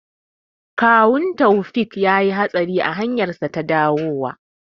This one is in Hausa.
Kawun Taufiq yayi hatsari a hanyarsa ta dawowa.